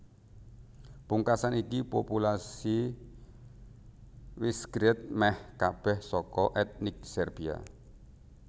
Pungkasan iki populasi Visegrad mèh kabèh saka ètnik Serbia